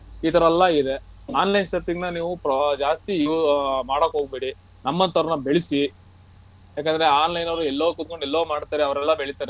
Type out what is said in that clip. ಇತರ ಎಲ್ಲ ಇದೆ online shopping ನ ನೀವು ಜಾಸ್ತಿ ಅಹ್ ಮಾಡಕ್ಹೋ ಗಬೇಡಿ ನಮ್ಮಂತವರ್ನ ಬೆಳಸಿ ಯಾಕಂದ್ರೆ online ಅವ್ರು ಎಲ್ಲೋ ಕುತ್ಕೊಂಡು ಎಲ್ಲೋ ಮಾಡ್ತಾರೆ ಎಲ್ಲೋ ಬೆಳಿತಾರೆ.